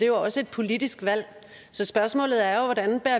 jo også et politisk valg så spørgsmålet er jo hvordan